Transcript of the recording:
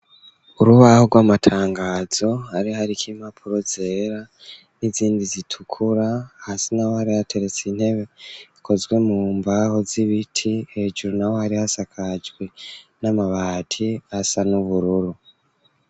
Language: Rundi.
Urubaho rw'amatangazo ari hariko impapuro zera n'izindi zitukura hasi na wo ari ateretse intebe ikozwe mu mbaho z'ibiti hejuru na wo ari hasakajwe n'amabati asa n'ubururu.